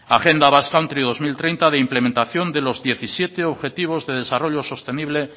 agenda basque country dos mil treinta de implementación de los diecisiete objetivos de desarrollo sostenible